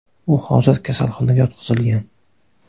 U hozir kasalxonaga yotqizilgan.